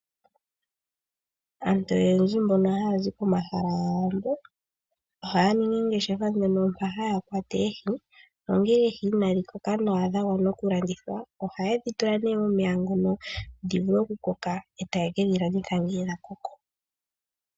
Aantu oyendji mbono haya zi pomahala ga yandja, ohaya ningi oongeshefa nduno mpa haya kwata Oohi. Nongele Oohi inadhi koka nawa dha gwana oku landithwa, ohaye dhi tula nee momeya ngono dhi vule oku koka e taye kedhi landitha ngele dha koko.